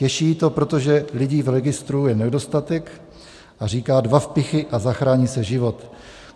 Těší ji to, protože lidí v registru je nedostatek, a říká: Dva vpichy a zachrání se život.